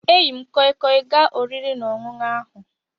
E yi m koi koi gaa oriri na ọṅụṅu ahu